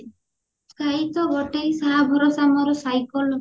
ସେଇ ତ ଗୋଟାଏ ସାହା ଭରସା ମୋର cycle